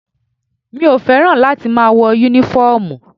Mi ò fẹ́ràn láti máa wọ́ Únífọ́ọ̀mù